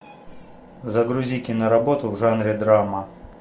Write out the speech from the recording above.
загрузи киноработу в жанре драма